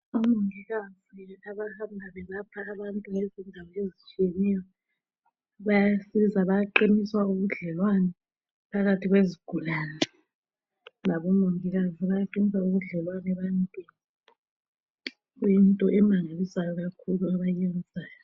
Abomongikazi abahamba belapha abantu ngezendawo ezitshiyeneyo, bayasizwa bayaqinisa ubudlelwane phakathi kwezigulane, labomongikazi bayaqinisa ubudlelwane ebentwini kuyinto emangalisayo kakhulu abayiyenzayo.